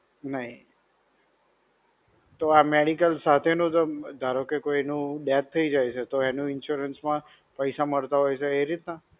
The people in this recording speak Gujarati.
નહિ. તો આ medical સાથેનો, ધારો કે કોઈનું death થઇ જાય છે તો એનું insurance માં, પૈસા મળતા હોય છે એ રીતના?